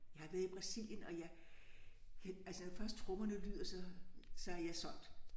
Jeg har været i Brasilien og jeg altså når først trommerne lyder så så er jeg solgt